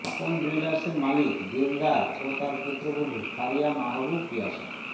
আপন জুয়েলার্সের মালিক দিলদার ও তার পুত্রবধূ ফারিয়া মাহবুব পিয়াসা